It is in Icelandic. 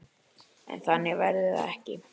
En þannig verður það ekki.